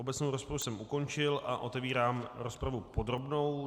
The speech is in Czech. Obecnou rozpravu jsem ukončil a otevírám rozpravu podrobnou.